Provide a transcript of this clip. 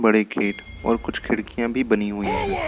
बड़े गेट और कुछ खिड़कियां भी बनी हुई है।